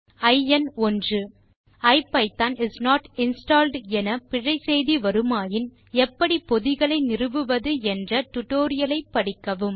ஐஎன்1 ஐபிதான் is not installed என பிழை செய்தி வருமாயின் எப்படி பொதிகளை நிறுவுவது என்ற டியூட்டோரியல் ஐ படிக்கவும்